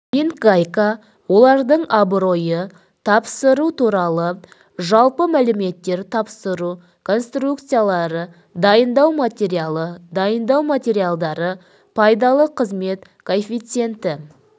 винтгайка олардың абыройы тапсыру туралы жалпы мәліметтер тапсыру конструкциялары дайындау материалы дайындау материалдары пайдалы қызмет коэффициенті